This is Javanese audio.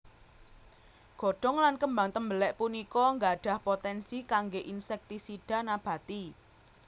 Godhong lan kembang tembelek punika gadhah potensi kangge insektisida nabati